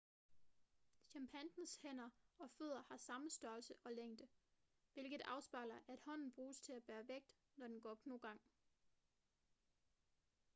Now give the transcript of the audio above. chimpansens hænder og fødder har samme størrelse og længde hvilket afspejler at hånden bruges til at bære vægt når den går knogang